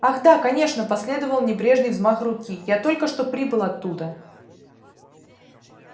ах да конечно последовал небрежный взмах руки я только что прибыл оттуда